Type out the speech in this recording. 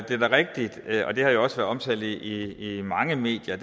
er da rigtigt og det har jo også været omtalt i mange medier